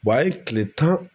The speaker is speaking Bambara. a ye kile tan